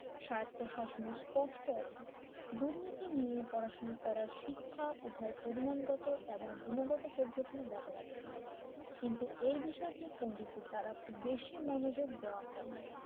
সার্থ শাসনের স্পষ্ট অভাব দুর্নীতি নিয়ে পড়াশোনা করার শিক্ষা উভয় পরিমাণগত ও গুণগত পদ্ধতি ব্যবহার করা হয় কিন্তু এই বিষয়টি পন্ডিতের দ্বারা খুব বেশি মনোযোগ দেওয়া হয় না